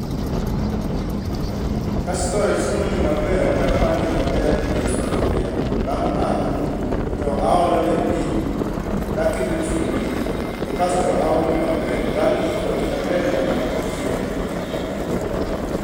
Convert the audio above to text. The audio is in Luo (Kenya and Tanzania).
Kase baro chiemoni maber, tapange maber ei sufria. Bang' mano , aolone pi, taketo chumbi to kasto aume maber. Bang'e ichuake maber nyaka ochiegi.